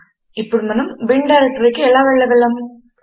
ఇప్పుడు మనము బిన్ డైరెక్టరీకి ఎలా వెళ్ళగలము